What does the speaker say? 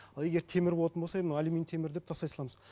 ал егер темір болатын болса е мына алюминий темір деп тастай саламыз